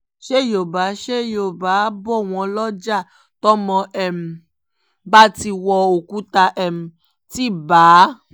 ṣé yọ́ọ̀bà ṣé yọ́ọ̀bà bò wọ́n lọ́jà tọ́mọ um bá ti wọ òkúta um ti bá a